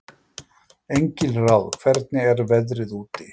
Engilráð, hvernig er veðrið úti?